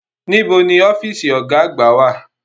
Níbo ni ọ́fíìsì Ọ̀gá àgbà wà?